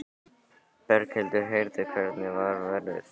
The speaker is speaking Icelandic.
Berghildur: Heyrðu, hvernig var færið?